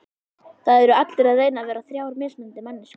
Það eru allir að reyna að vera þrjár mismunandi manneskjur.